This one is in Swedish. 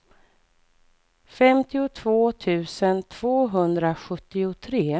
femtiotvå tusen tvåhundrasjuttiotre